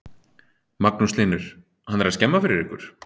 Magnús Hlynur: Hann er skemma fyrir ykkur?